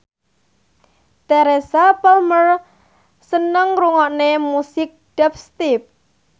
Teresa Palmer seneng ngrungokne musik dubstep